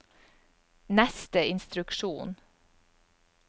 neste instruksjon